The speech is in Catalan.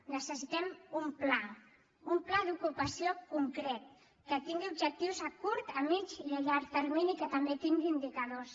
necessitem un pla un pla d’ocupació concret que tingui objectius a curt a mitja i a llarg termini i que també tingui indicadors